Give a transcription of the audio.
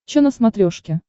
че на смотрешке